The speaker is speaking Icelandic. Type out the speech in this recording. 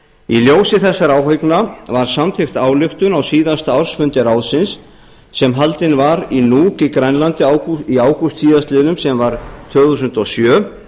í ljósi þessara áhyggna var samþykkt ályktun á síðasta ársfundi ráðsins sem haldinn var í nuuk á grænlandi í ágúst síðastliðinn sem var tvö þúsund og sjö